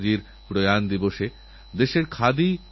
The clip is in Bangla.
খেলারএই মহাকুম্ভে রিওর শব্দ ঝংকারে